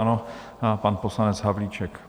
Ano, pan poslanec Havlíček.